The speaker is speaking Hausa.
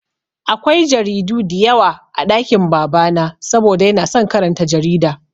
Akwai jaridu diyawa a ɗakin baba na saboda yana son karanta jarida